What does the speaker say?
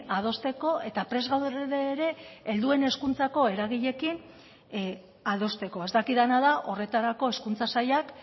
adosteko eta prest gaude ere helduen hezkuntzako eragileekin adosteko ez dakidana da horretarako hezkuntza sailak